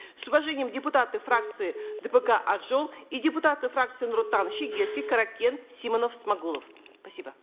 с уважением депутаты фракции дпк ак жол и депутаты фракции нур отан шидерский каракен симонов смагулов спасибо